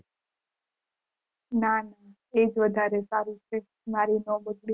ના તેજ વઘારે સારું છે મારી નોબત